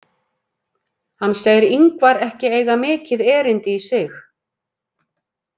Hann segir Ingvar ekki eiga mikið erindi í sig.